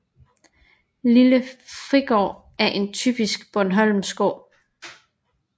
Lille Frigård er en typisk bornholmsk gård